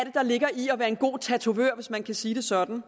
er der ligger i at være en god tatovør hvis man kan sige det sådan